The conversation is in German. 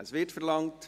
– Es wird verlangt.